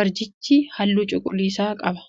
Barjichi halluu cuquliisa qaba.